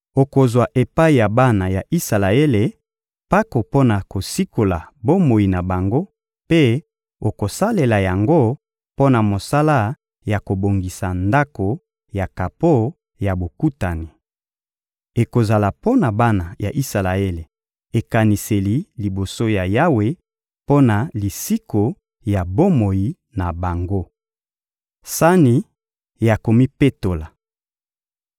Okozwa epai ya bana ya Isalaele mpako mpo na kosikola bomoi na bango mpe okosalela yango mpo na mosala ya kobongisa Ndako ya kapo ya Bokutani. Ekozala mpo na bana ya Isalaele ekaniseli liboso ya Yawe mpo na lisiko ya bomoi na bango. Sani ya komipetola